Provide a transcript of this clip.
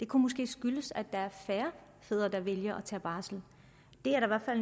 kunne skyldes at der er færre fædre der vælger at tage barsel det er der